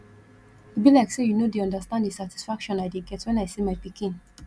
e be like say you no dey understand the satisfaction i dey get wen i see my pikin